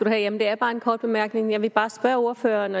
have jamen det er bare en kort bemærkning jeg vil bare spørge ordføreren